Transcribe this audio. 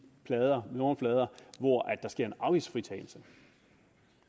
nummerplader hvor der sker en afgiftsfritagelse